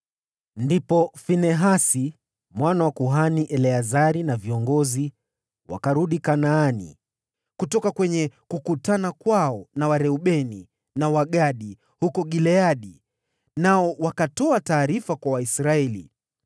Ndipo Finehasi, mwana wa kuhani Eleazari na viongozi wakarudi Kanaani kutoka kwenye kukutana kwao na Wareubeni na Wagadi huko Gileadi nao wakatoa taarifa kwa Waisraeli.